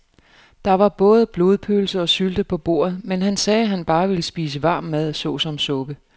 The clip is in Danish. Der var både blodpølse og sylte på bordet, men han sagde, at han bare ville spise varm mad såsom suppe.